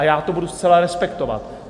A já to budu zcela respektovat.